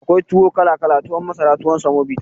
Akwai tuwo kala kala tuwon masara tuwon samobita